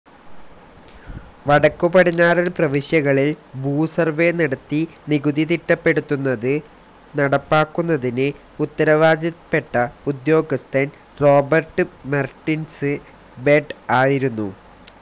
വടക്കുപടിഞ്ഞാറൻ പ്രവിശ്യകളിൽ ഭൂസർവ്വേ നടത്തി നികുതി തിട്ടപ്പെടുത്തുന്നത് നടപ്പാക്കുന്നതിന് ഉത്തരവാദപ്പെട്ട ഉദ്യോഗസ്ഥൻ റോബർട് മെർടിന്സ് ബെഡ് ആയിരുന്നു.